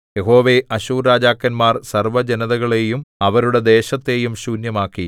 യഹോവേ അശ്ശൂർരാജാക്കന്മാർ സർവ്വജനതകളെയും അവരുടെ ദേശത്തെയും ശൂന്യമാക്കി